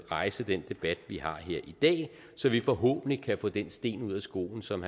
rejse den debat vi har her i dag så vi forhåbentlig kan få den sten ud af skoen som